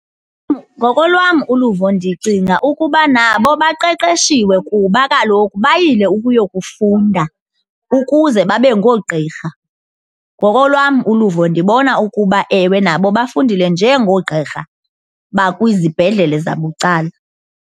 Ngokolwam uluvo ndicinga ukuba nabo baqeqeshiwe kuba kaloku bayile ukuyokufunda ukuze babe ngoogqirha. Ngokolwam uluvo ndibona ukuba, ewe, nabo bafundile njengoogqirha bakwizibhedlele zabucala.